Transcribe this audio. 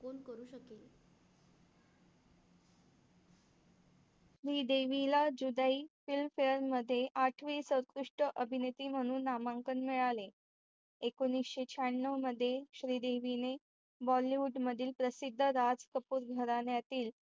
श्रीदेवीला Judaai Film Fair मध्ये आठवे सर्वोत्कृष्ट अभिनेत्री म्हणून नामांकन मिळाले. एकोनिशे शहाण्णव मध्ये श्रीदेवीने Bollywood मधील प्रसिद्ध राज कपूर घराण्यातील